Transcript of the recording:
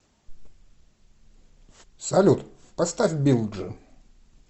салют поставь билджи